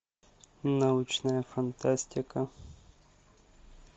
научная фантастика